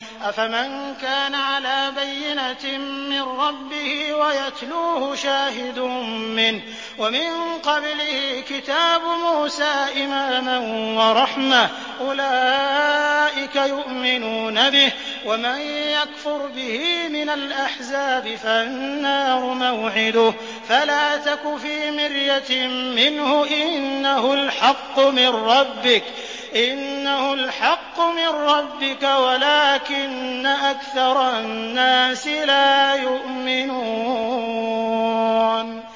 أَفَمَن كَانَ عَلَىٰ بَيِّنَةٍ مِّن رَّبِّهِ وَيَتْلُوهُ شَاهِدٌ مِّنْهُ وَمِن قَبْلِهِ كِتَابُ مُوسَىٰ إِمَامًا وَرَحْمَةً ۚ أُولَٰئِكَ يُؤْمِنُونَ بِهِ ۚ وَمَن يَكْفُرْ بِهِ مِنَ الْأَحْزَابِ فَالنَّارُ مَوْعِدُهُ ۚ فَلَا تَكُ فِي مِرْيَةٍ مِّنْهُ ۚ إِنَّهُ الْحَقُّ مِن رَّبِّكَ وَلَٰكِنَّ أَكْثَرَ النَّاسِ لَا يُؤْمِنُونَ